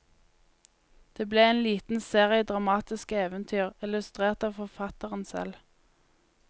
Det ble en liten serie dramatiske eventyr, illustrert av forfatteren selv.